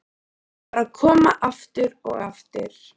Þau bara koma, aftur og aftur.